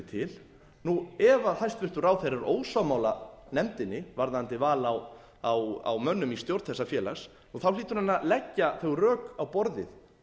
til ef hæstvirtur ráðherra er ósammála nefndinni varðandi val á mönnum í stjórn þessa félags þá hlýtur hann að leggja þau rök á borðið